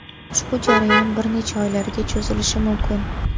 Ushbu jarayon bir necha oylarga cho‘zilishi mumkin.